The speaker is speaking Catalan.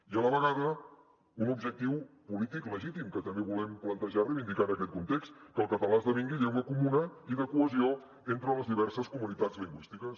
i a la vegada un objectiu polític legítim que també volem plantejar i reivindicar en aquest context que el català esdevingui llengua comuna i de cohesió entre les diverses comunitats lingüístics